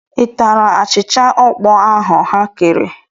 I tara achịcha ọkpọọ ahụ ha kere?